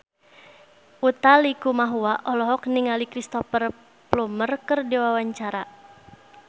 Utha Likumahua olohok ningali Cristhoper Plumer keur diwawancara